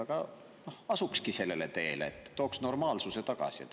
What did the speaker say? Äkki asukski sellele teele ja tooks normaalsuse tagasi?